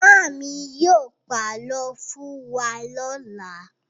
Màámi yóò pàlọ́ fún wa lọ́la.